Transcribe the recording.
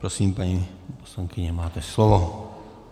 Prosím, paní poslankyně, máte slovo.